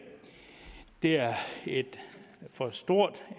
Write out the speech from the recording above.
er for stort